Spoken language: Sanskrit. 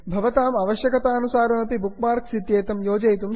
भवताम् अवश्यकतानुसारमपि बुक् मार्क्स् इत्येतं योजयितुं शक्यते